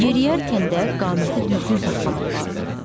Yeriyərkən də qaməti düzgün saxlamaq lazımdır.